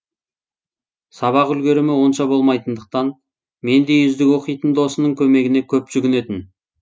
сабақ үлгерімі онша болмайтындықтан мендей үздік оқитын досының көмегіне көп жүгінетін